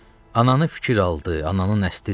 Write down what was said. Ananı fikir aldı, ananı nəstə dizi.